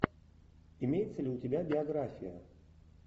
имеется ли у тебя биография